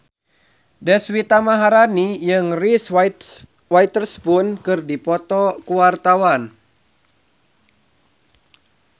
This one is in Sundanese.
Deswita Maharani jeung Reese Witherspoon keur dipoto ku wartawan